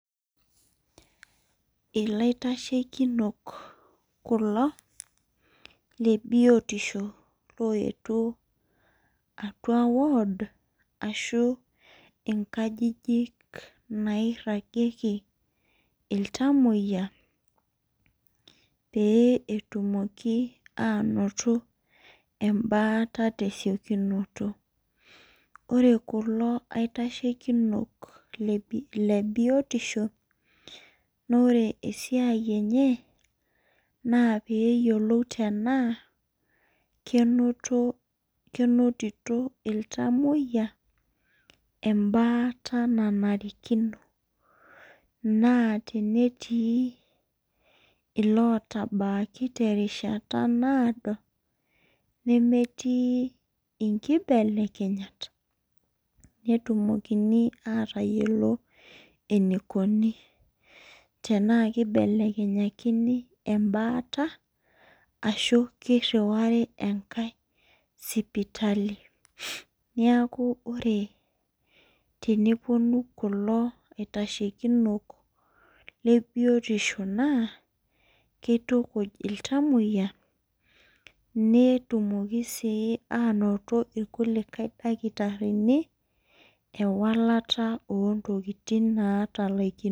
Ilaitashekinok kulo le biotisho oyetuo atau ward inkajijik naitasheki. iltamoyia. pee etumoki aanoto e baata tesiokinoto. ore kulo aitashekinok le biotisho naa ore esiai enye. naa peeyiolou tenaa menotito iltamoyia ebaata naanarikino. naa tenetii illotabaki terishata naado. nemetii inkibelekenyat. neyiolouni enaikoni. tenaa kibelekenyakini ebaata. ashu kiriwari enkae sipali. neeku ore tenepuonu kulo aitashekinok le biotisho. naa kitukuj iltamoyia. netumoki sii aanoto ilkulikae kitarikni ewalata ontokitin naatalaikinote .